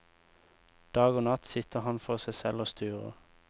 Dag og natt sitter han for seg selv og sturer.